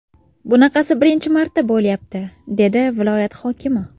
Bunaqasi birinchi marta bo‘lyapti”, dedi viloyat hokimi.